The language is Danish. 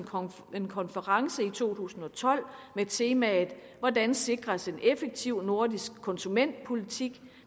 en konference i to tusind og tolv med temaet hvordan sikres en effektiv nordisk konsumentpolitik